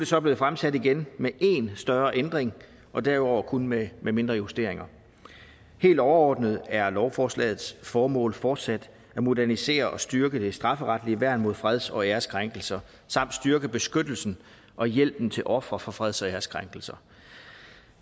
så blevet fremsat igen med én større ændring og derudover kun med med mindre justeringer helt overordnet er lovforslagets formål fortsat at modernisere og styrke det strafferetlige værn mod freds og æreskrænkelser samt styrke beskyttelsen og hjælpen til ofre for freds og æreskrænkelser